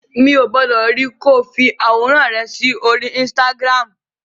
Mi ò gbọdọ̀ rí ẹ ko fi àwòrán rẹ sí orí Instagram.